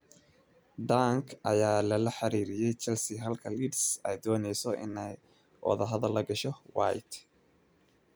Dunk ayaa lala xiriiriyay Chelsea halka Leeds ay dooneyso inay wadahadal la gasho White.